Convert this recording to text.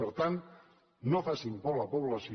per tant no facin por a la població